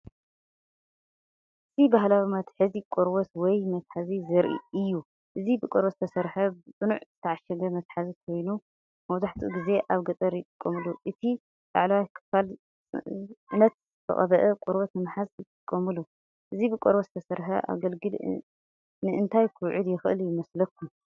እዚ ባህላዊ መትሓዚ ቆርበት ወይ መትሓዚ ዘርኢ እዩ። እዚ ብቆርበት ዝተሰርሐ ብጽኑዕ ዝተዓሸገ መትሓዚ ኮይኑ፡ መብዛሕትኡ ግዜ ኣብ ገጠር ይጥቀመሉ። እቲ ላዕለዋይ ክፋል ጽዕነት ዝተቐብአ ቆርበት ንምሓዝ ይጥቀመሉ። እዚ ብቆርበት ዝተሰርሐ ኣገልግል ንእንታይ ክውዕል ይኽእል ይመስለኩም?